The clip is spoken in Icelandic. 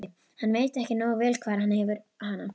Hann veit ekki nógu vel hvar hann hefur hana.